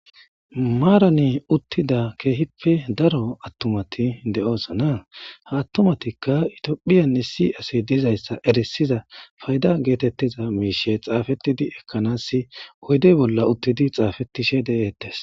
Maarani uttida keehippe daro attumati deoosana ha attumatikka itiophiyan issi asi dizayssa erisiza fayda geetettiza miishe xaafettidi ekkanasi hoydey bolla uttidi xaafetishe de'ettes.